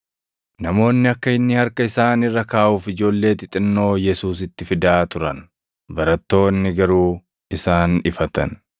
Namoonni akka inni harka isaan irra kaaʼuuf ijoollee xixinnoo Yesuusitti fidaa turan; barattoonni garuu isaan ifatan.